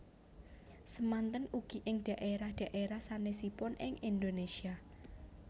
Samanten ugi ing dhaérah dhaérah sanèsipun ing Indhonésia